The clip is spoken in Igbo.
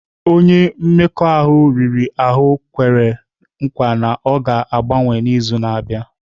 Onye mmekọahụ riri ahụ kwere nkwa na ọ ga-agbanwe n'izu na-abịa.